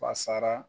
Fasara